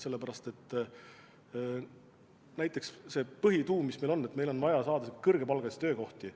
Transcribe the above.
Sellepärast et põhieesmärk, mis meil on, on see, et meil on vaja tekitada kõrgepalgalisi töökohti.